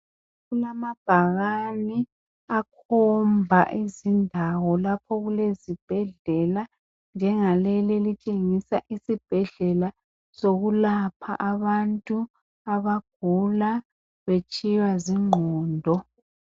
Kulamabhakani akhomba iziñdawo lapho okulezibhedlela. Njengaleli elitshengisa isibhedlela sokulapha abantu abagula betshiywa zingqondo.